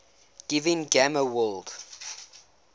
giving gamma world